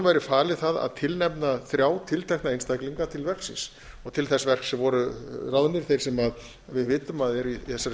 væri falið að tilnefna þrjá tiltekna einstaklinga til verksins til þess verks voru ráðnir þeir sem við vitum að eru í þessari